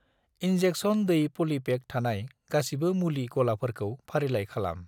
Injection दै पलिपेक थानाय गासिबो मुलि गलाफोरखौ फारिलाइ खालाम।